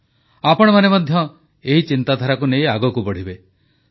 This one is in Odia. ଆପଣମାନେ ମଧ୍ୟ ଏହି ଚିନ୍ତାଧାରାକୁ ନେଇ ଆଗକୁ ବଢ଼ିବେ